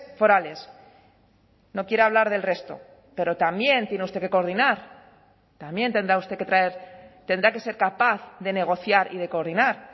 forales no quiere hablar del resto pero también tiene usted que coordinar también tendrá usted que traer tendrá que ser capaz de negociar y de coordinar